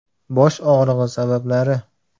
Bosh og‘rig‘i sabablari.